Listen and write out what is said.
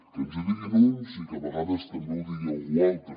que ens ho diguin uns i que a vegades també ho digui algú altre